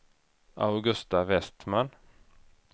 Augusta Vestman